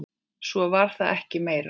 Svo var það ekki meira.